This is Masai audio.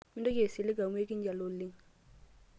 mintoki asilig amuu akinyali oleng'